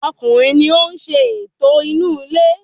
Ọkùnrin ni oún ṣe ẹ̀tọ́ inú ilé